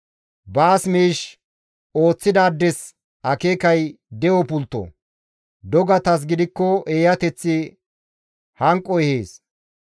Baas miish ooththidaades akeekay de7o pultto; dogatas gidikko eeyateththi hanqo ehees.